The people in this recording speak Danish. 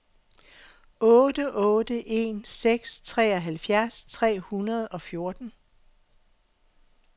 otte otte en seks treoghalvfjerds tre hundrede og fjorten